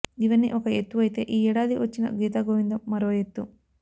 ఇవన్నీ ఒక ఎత్తు అయితే ఈ ఏడాది వచ్చిన గీతగోవిందం మరో ఎత్తు